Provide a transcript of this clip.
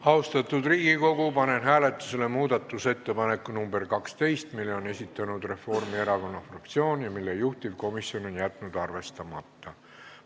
Austatud Riigikogu, panen hääletusele muudatusettepaneku nr 12, mille on esitanud Reformierakonna fraktsioon ja mille juhtivkomisjon on jätnud arvestamata.